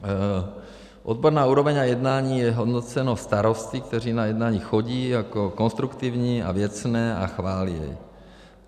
Odborná úroveň a jednání jsou hodnoceny starosty, kteří na jednání chodí, jako konstruktivní a věcné a chválí je.